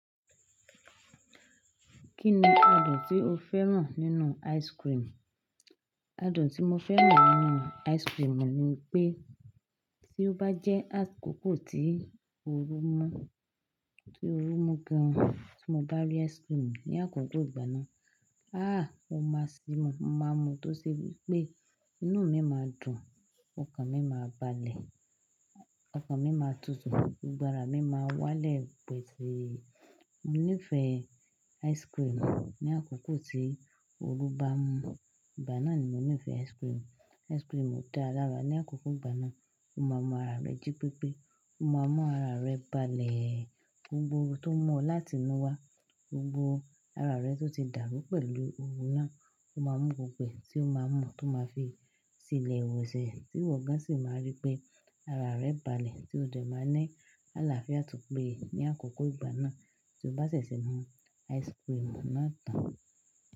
Kí ni adùn tí o fẹ́ràn nínú ice cream? Adùn tí mo fẹ́ràn nínú ice cream ni pé tí ó bá jẹ́ àkókò tí ooru mú, tí ooru mú gan ti mo bá rí ice cream ní àkókò ìgbà náà, ah mo máa sì mú, mo máa mu tó ṣe wípé inú mi máa dùn, ọkàn mi máa balẹ̀, ọkàn mi máa tutù, gbogbo ara mi máa wálẹ̀ pẹ̀tù yìí. Mo nífẹ̀ẹ́ ice cream ní àkókò tí ooru bá ń mú, ìgbà náà ni mo nífẹ̀ẹ́ ice cream. Ice cream dá lára ní àkókò ìgbà náà, o máa mú ara rẹ jí pépé. O máa múra rẹ balẹ̀, gbogbo tó mú láti inú wá, gbogbo ara rẹ tó ti dàrú pẹ̀lú ooru náà, o máa mú gbogbo ẹ̀ tí o máa mọ tó máa fi ṣí ilẹ̀ wẹ̀sẹ̀, tí ìwọ gan sì máa rí pé ara rẹ balẹ̀ tí ó dẹ̀ máa ń ní àlàáfíà tí ó péye ní àkókò ìgbà náà tí o bá ṣẹ̀ṣẹ̀ mú ice cream náà tán.